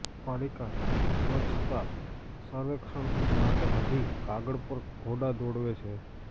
પાલિકા સ્વચ્છતા સર્વેક્ષણ માટે હજી કાગળ પર ઘોડા દોડાવે છે